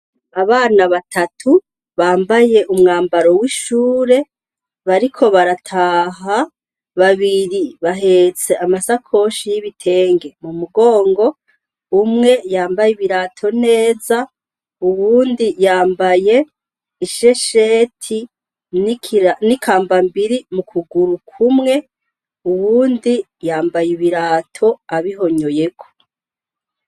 Abana batatu bambaye umwambaro w'ishure bariko barataha babiri bahetse amasakoshi y'ibitenge mu mugongo umwe yambaye ibirato neza uwundi yambaye ishesheti ni kambarae mbiri mu kuguru kumwe uwundi yambaye ibirato abihonyoyeko.